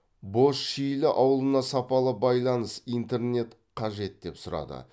бозшилі ауылына сапалы байланыс интернет қажет деп сұрады